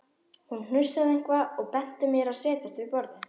Hún hnussaði eitthvað og benti mér að setjast við borðið.